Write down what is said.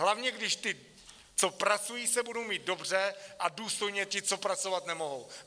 Hlavně když ti, co pracují, se budou mít dobře a důstojně ti, co pracovat nemohou.